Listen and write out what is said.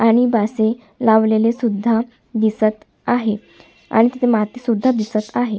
आणि बासे लावलेले सुद्धा दिसत आहे आणि तिथे माती सुद्धा दिसत आहे.